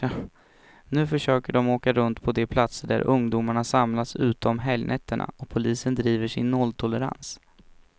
Nu försöker de åka runt på de platser där ungdomarna samlas ute om helgnätterna, och polisen driver sin nolltolerans.